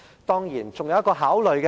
當然，還有一點需要考慮。